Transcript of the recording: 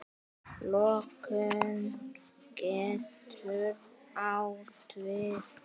Lokun getur átt við